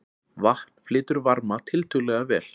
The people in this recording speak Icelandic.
Vatn flytur varma tiltölulega vel.